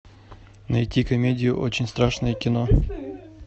найти комедию очень страшное кино